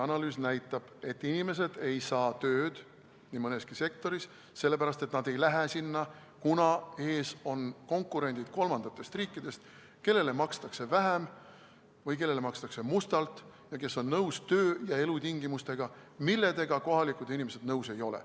Analüüs näitab, et inimesed ei saa tööd nii mõneski sektoris, sellepärast et nad ei lähe sinna, kuna ees on konkurendid kolmandatest riikidest, kellele makstakse vähem või kellele makstakse mustalt ja kes on nõus töö- ja elutingimustega, millega kohalikud inimesed nõus ei ole.